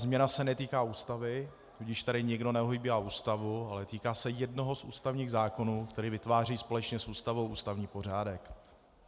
Změna se netýká Ústavy, tudíž tady nikdo neohýbá Ústavu, ale týká se jednoho z ústavních zákonů, který vytváří společně s Ústavou ústavní pořádek.